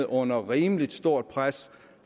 under rimelig stort pres